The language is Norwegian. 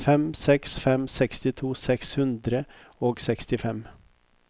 fem fem seks fem sekstito seks hundre og sekstifem